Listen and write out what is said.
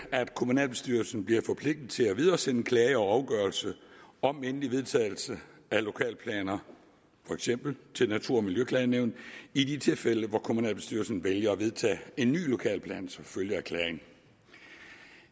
at kommunalbestyrelsen bliver forpligtet til at videresende en klage over en afgørelse om endelig vedtagelse af lokalplaner for eksempel til natur og miljøklagenævnet i de tilfælde hvor kommunalbestyrelsen vælger at vedtage en ny lokalplan som følge af klagen